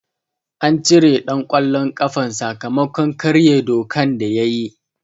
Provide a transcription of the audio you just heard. An cire ɗan ƙwallon ƙafan sakamakon karye dokan da yayi.